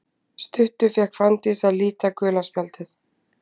Stuttu fékk Fanndís að líta gula spjaldið.